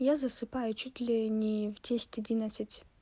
я засыпаю чуть ли не в десять одиннадцать